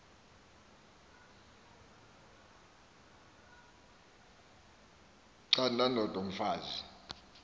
canda ndod umfaz